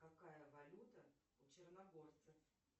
какая валюта у черногорцев